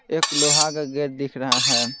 एक लोहा का गेट दिख रहा है।